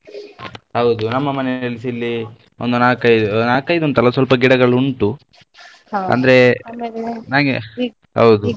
ಹೌದು ನಮ್ಮ ಮನೆಯಲ್ಲಿಸ ಇಲ್ಲಿ ಒಂದು ನಾಲ್ಕ್ ಐದು ನಾಲ್ಕ್ ಐದು ಅಂತಲ್ಲ ಸ್ವಲ್ಪ ಗಿಡಗಳು ಉಂಟು ಅಂದ್ರೆ ಹೌದು.